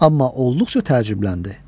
Amma olduqca təəccübləndi.